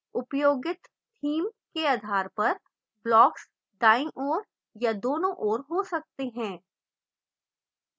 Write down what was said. उपयोगित theme के आधार पर blocks दायीं ओर या दोनों ओर हो सकते हैं